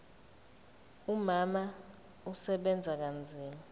umama usebenza kanzima